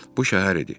Bu şəhər idi.